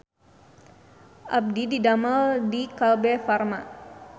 Abdi didamel di Kalbe Farma